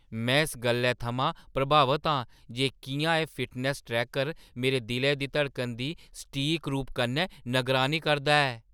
में इस गल्लै थमां प्रभावत आं जे किʼयां एह् फिटनैस्स ट्रैकर मेरे दिलै दी धड़कना दी सटीक रूप कन्नै नगरानी करदा ऐ।